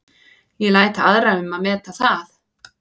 Ég læt aðra um að meta það.